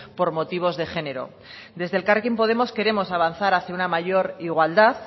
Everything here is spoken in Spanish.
por motivos de género desde elkarrekin podemos queremos avanzar hacia una mayor igualdad